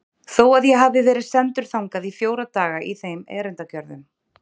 Þó að ég hafi verið sendur þangað í fjóra daga í þeim erindagjörðum.